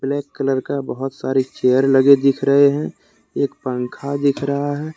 Black colour का बहुत सारी चेयर लगे दिख रहे हैं एक पंखा दिख रहा है।